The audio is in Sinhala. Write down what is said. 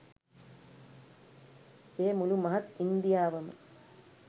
එය මුළු මහත් ඉන්දියාවම